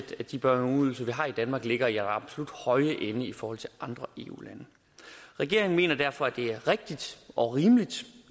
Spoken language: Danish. at de børne og ungeydelser vi har i danmark ligger i den absolut høje ende i forhold til andre eu lande regeringen mener derfor at det er rigtigt og rimeligt